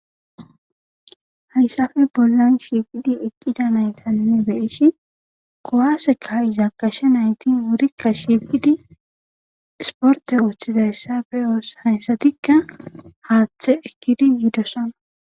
Hayssafe bollan shifidi eqqida naytanne beeshi kowaseka iza kashe nayti wurikka shifidi sporte ooththizayssafe oos hayssatikka haaththe ekkidi yidosona.